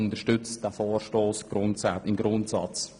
Wir unterstützen diesen Vorstoss im Grundsatz.